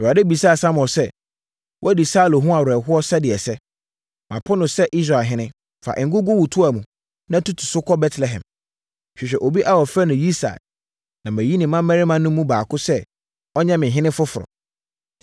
Awurade bisaa Samuel sɛ, “Woadi Saulo ho awerɛhoɔ sɛdeɛ ɛsɛ. Mapo no sɛ Israel ɔhene. Fa ngo gu wo toa mu, na tutu so kɔ Betlehem. Hwehwɛ obi a wɔfrɛ no Yisai na mayi ne mmammarima no mu baako sɛ ɔnyɛ me ɔhene foforɔ.”